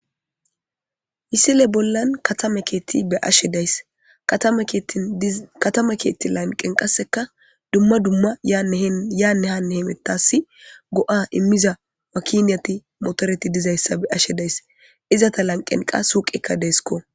Misile bollan katame keetti be ashe days katama keetti lanqen qasseka dumma dumma yaanne hanne hemettas go7a immiza wakiniyati motoreti dizayssa be ashe days izata lanqen qa huuqekka deesko